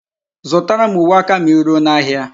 Zutara m uwe aka ma I ruo n'ahia